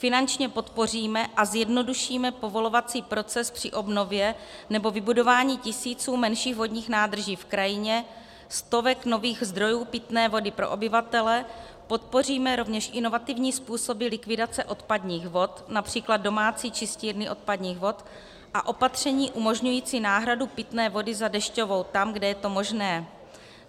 Finančně podpoříme a zjednodušíme povolovací proces při obnově nebo vybudování tisíců menších vodních nádrží v krajině, stovek nových zdrojů pitné vody pro obyvatele, podpoříme rovněž inovativní způsoby likvidace odpadních vod, například domácí čistírny odpadních vod, a opatření umožňující náhradu pitné vody za dešťovou tam, kde je to možné.